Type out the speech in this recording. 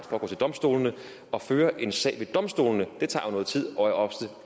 for at gå til domstolene og føre en sag ved domstolene det tager jo noget tid og er ofte